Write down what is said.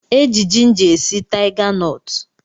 E ji jinja e si taiganọtụ